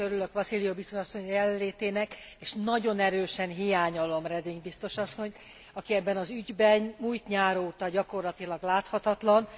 Én is örülök Vassiliou biztos asszony jelenlétének és nagyon erősen hiányolom Reding biztos asszonyt, aki ebben az ügyben múlt nyár óta gyakorlatilag láthatatlan.